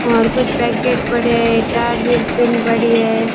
और कुछ पैकेट पड़े हैं एक चार्जीर पिन पड़ी है।